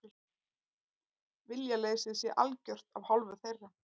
Viljaleysið sé algjört af hálfu þeirra